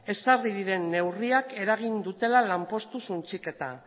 ezarri diren neurriak eragin dutela lanpostu suntsiketa